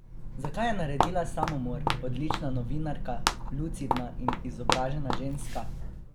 Zakaj je naredila samomor odlična novinarka, lucidna in izobražena ženska?